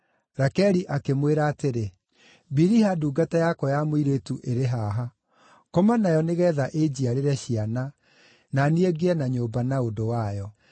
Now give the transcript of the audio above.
Rakeli akĩmwĩra atĩrĩ, “Biliha ndungata yakwa ya mũirĩtu ĩrĩ haha; koma nayo nĩgeetha ĩnjiarĩre ciana, na niĩ ngĩe na nyũmba na ũndũ wayo.”